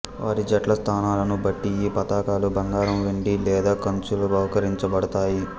వారి జట్ల స్థానాలను బట్టి ఈ పతకాలు బంగారం వెండి లేదా కంచులో బహూకరించబడతాయి